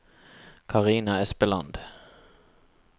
Karina Espeland